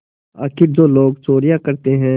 आखिर जो लोग चोरियॉँ करते हैं